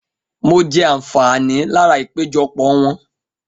Mo jẹ àǹfààní lára ìpéjọpọ̀ wọn